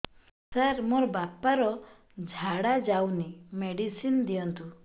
ସାର ମୋର ବାପା ର ଝାଡା ଯାଉନି ମେଡିସିନ ଦିଅନ୍ତୁ